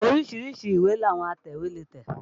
Oríṣi ìwé làwọn atẹ̀wé lè tẹ̀